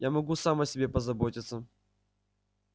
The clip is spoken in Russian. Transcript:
я могу сам о себе позаботиться